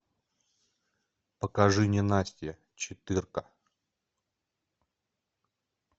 покажи ненастье четыре ка